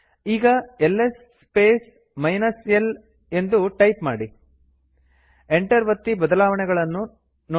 ಈಗ LS space l ಎಂದು type ಮಾಡಿ ಎಂಟರ್ ಒತ್ತಿ ಬದಲಾವಣೆಗಳನ್ನು ನೋಡಿ